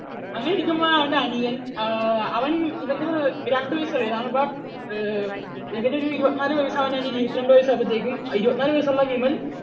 അങ്ങനെയിരിക്കുമ്പോഴാണ് അവൻറെ അനിയൻ, അവൻ ഇവൻറെ രണ്ടു വയസ്സ് ഇളയതാണ്, but ഇവൻ ഒരു ഇരുപത്തിനാലു വയസ്സ് ആണെങ്കിൽ അവന്റെ അനിയൻ ഇരുപത്തിരണ്ടു വയസ്സ് ആയപ്പോഴേക്കും ഇരുപത്തിനാലു വയസ്സുള്ള വിമൽ